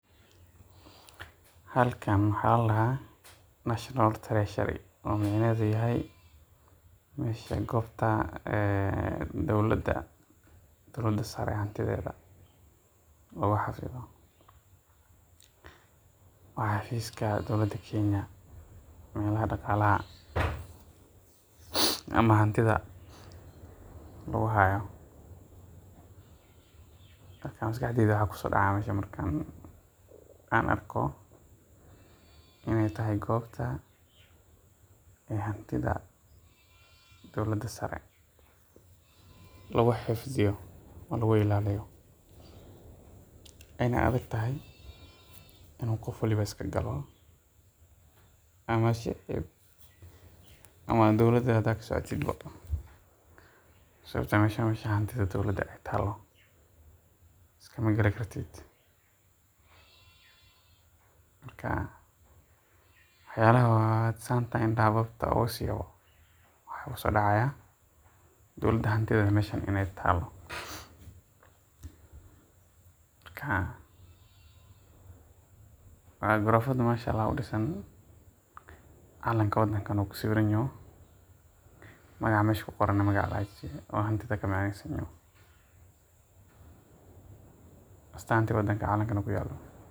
Halkan waxaa ladahaa national treasury oo micnaheeda tahay meesha goobta dowlada sare hantideeda, waa xafiiska dowlada Kenya ee daqaalaha hantida lagu haayo, marka maskaxdeyda waxaa kusoo dacaaya markaan arko inaay tahay goobta hantida dowlada sare lagu xifdiyo oo lagu ilaaliyo, waayna adag tahay in qof walibo iska galo ama dowlada hadaa kasocotid waxaa yeele meeshan waa meesha hantida dowlada taalo iskama gali kartid markaa wax yaabaha markaan indaha wab kusiiyo waxaa igu soo dacaaya dowlada hantideeda meeshan inaay taalo, marka waan gorofa Masha Allah udisan, calanka wadanka na uu ku sawiraan yahay, magaca meesha ku qoran neh hantida ka macneesan yaho.